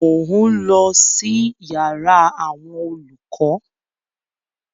Mò ń lọ sí yàrá àwọn olùkọ́